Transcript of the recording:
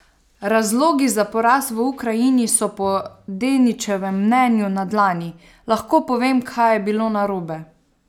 Razlogi za poraz v Ukrajini so po Denićevem mnenju na dlani: "Lahko povem, kaj je bilo narobe.